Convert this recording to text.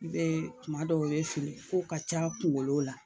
I bɛ tuma dɔw i bɛ fili kow ka ca kungolɔ la.